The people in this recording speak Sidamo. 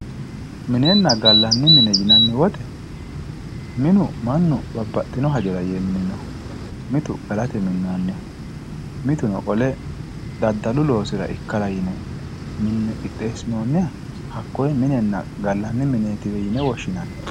minenna gallanni mine yinanni wote minu mannu babbaxino hajora yee mininoho, mitu galate yine minnoonniho mitu qole daddalu loosira yine qixxeessinoonniha hakkoye minenna gallanni mineetiwe yine woshshinanni.